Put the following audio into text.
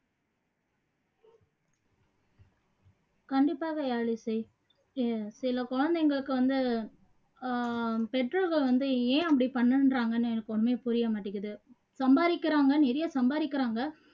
கண்டிப்பாக யாழிசை இ சில குழந்தைங்களுக்கு வந்து ஆஹ் பெற்றவங்க வந்து ஏன் அப்படி பண்ணுன்றாங்கன்னு எனக்கு ஒண்ணுமே புரிய மாட்டேங்குது சம்பாறிக்குறாங்க நிறைய சம்பாறிக்குறாங்க